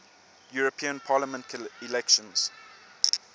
european parliament elections